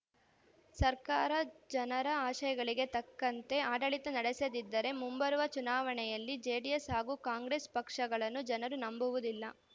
ಸರ್ಕಾರ ಜನರ ಆಶಯಗಳಿಗೆ ತಕ್ಕಂತೆ ಆಡಳಿತ ನಡೆಸದಿದ್ದರೆ ಮುಂಬರುವ ಚುನಾವಣೆಯಲ್ಲಿ ಜೆಡಿಎಸ್‌ ಹಾಗೂ ಕಾಂಗ್ರೆಸ್‌ ಪಕ್ಷಗಳನ್ನು ಜನರು ನಂಬುವುದಿಲ್ಲ